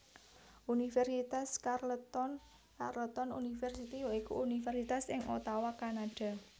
Universitas Carleton Carleton University ya iku universitas ing Ottawa Kanada